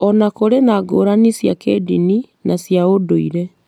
o na kũrĩ na ngũrani cia kĩĩndini na cia ũndũire.